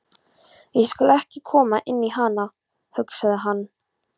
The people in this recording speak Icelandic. Ég skal ekki koma inn í hana, hugsaði hann.